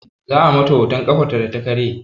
Za a mata hoton ƙafarta data karye